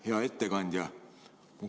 Hea ettekandja!